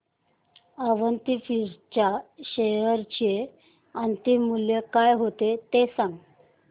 Avanti feeds च्या share चे अंतिम मूल्य काय होते ते सांगा